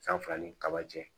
San fila ni kaba cɛ